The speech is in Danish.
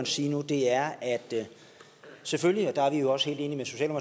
sige nu er at der selvfølgelig og der er vi også helt enige med